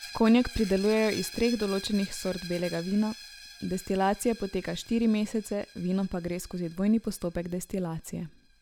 Konjak pridelujejo iz treh določenih sort belega vina, destilacija poteka štiri mesece, vino pa gre skozi dvojni postopek destilacije.